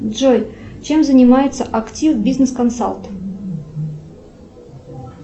джой чем занимается актив бизнес консалт